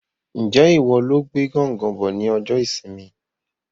Njẹ ìwo lo gbé gángan bọ ní ọjọ ìsinmi?